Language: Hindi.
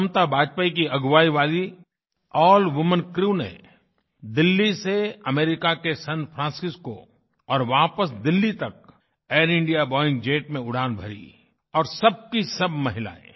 क्षमता वाजपेयी की अगुवाई वाली अल्ल वूमेन क्रू ने दिल्ली से अमेरिका के सान फ्रांसिस्को और वापस दिल्ली तक एयर इंडिया बोइंग जेट में उड़ान भरी और सब की सब महिलाएँ